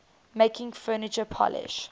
making furniture polish